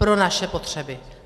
Pro naše potřeby.